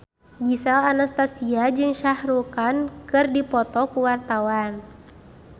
Gisel Anastasia jeung Shah Rukh Khan keur dipoto ku wartawan